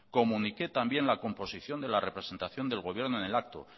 comuniqué la composición de la representación del gobierno en el acto